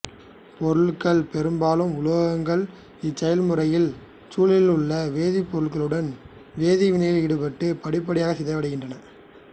பொருட்கள் பெரும்பாலும் உலோகங்கள் இச்செயல்முறையில் சூழலிலுள்ள வேதிப்பொருட்களுடன் வேதிவினையில் ஈடுபட்டு படிப்படியாக சிதைவடைகின்றன